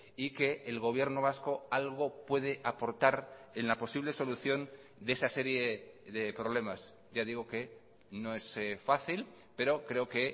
y que el gobierno vasco algo puede aportar en la posible solución de esa serie de problemas ya digo que no es fácil pero creo que